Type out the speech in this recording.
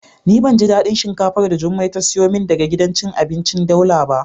Ni ban ji dadin shinkafar da jummai ta siyo min daga gidan cin abinci daula ba.